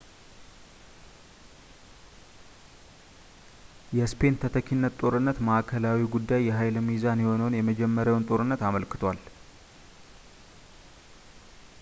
የስፔን ተተኪነት ጦርነት ማዕከላዊው ጉዳይ የኃይል ሚዛን የሆነውን የመጀመሪያውን ጦርነት አመልክቷል